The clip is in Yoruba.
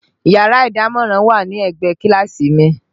Yàrá ìdámọ̀ràn wà ní ẹ̀gbẹ́ kíláàsì mi